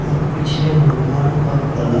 और पिछले मेडगार्ड का कलर --